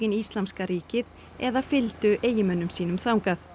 Íslamska ríkið eða fylgdu eiginmönnum sínum þangað